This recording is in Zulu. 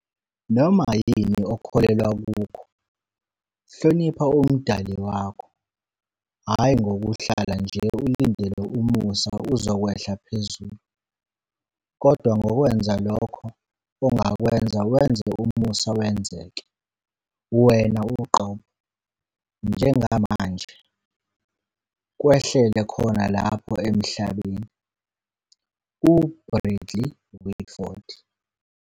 Noma yini okholelwa kukho, hlonipha umdali wakho, hhayi ngokuhlala nje ulindele umusa uzokwehla phezulu, kodwa ngokwenza lokho ongakwenza wenze umusa wenzeke, wena uqobo, njengamanje, kwehlele khona lapha eMhlabeni. - u-Bradley Whitford.